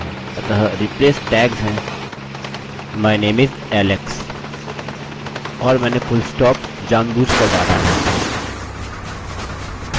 अतः replace tags हैं my name is alexऔर मैंने पूर्णविराम जानबूझकर डाला है